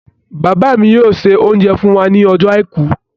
Bàbá mi yóò se oúnjẹ fún wa ní ọjọ́ àìkú.